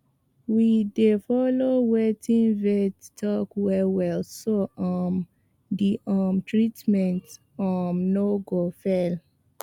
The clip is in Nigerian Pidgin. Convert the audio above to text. we dey follow wetin vet talk wellwell so um the um treatment um no go fail